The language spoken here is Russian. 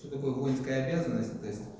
что такое воинская обязанность то есть